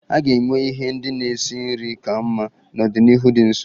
A ga-enwe ihe ndị na-esi nri ka mma n'ọdịnihu dị nso.